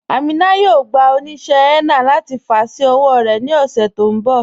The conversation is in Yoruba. Amina yóò gbà oníṣẹ̀ henna láti fà sí ọwọ̀ rẹ ni ọṣẹ̀ tó nbọ̀.